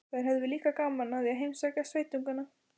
Þær höfðu líka gaman af að heimsækja sveitungana.